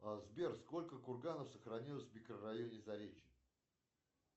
сбер сколько курганов сохранилось в микрорайоне заречье